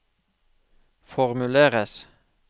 formuleres